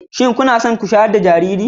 Kina so ku shayar da jariri?